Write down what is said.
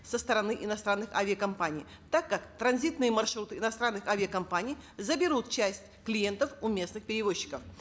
со стороны иностранных авиакомпаний так как транзитные маршруты иностранных авиакомпаний заберут часть клиентов у местных перевозчиков